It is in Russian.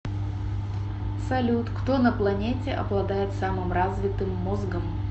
салют кто на планете обладает самым развитым мозгом